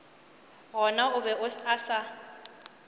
gona o be a sa